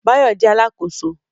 Báyọ̀ jẹ́ Alákóso